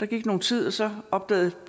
der gik nogen tid og så opdagede